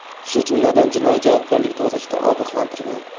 shu jumladan jinoiy javobgarlik to‘g‘risida ogohlantirgan.